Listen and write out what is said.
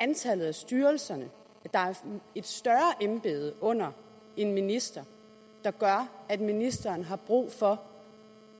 antallet af styrelser at det er et større embede under en minister der gør at ministeren har brug for